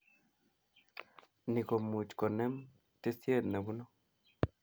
Ni komuch konem tisiet nebunu